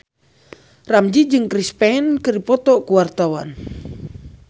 Ramzy jeung Chris Pane keur dipoto ku wartawan